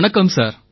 வணக்கம் சார்